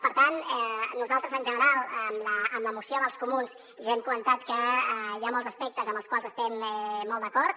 per tant nosaltres en general en la moció dels comuns ja hem comentat que hi ha molts aspectes amb els quals estem molt d’acord